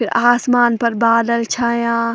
फिर आसमान पर बादल छायाँ।